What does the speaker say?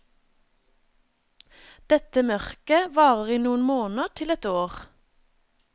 Dette mørket varer i noen måneder til et år.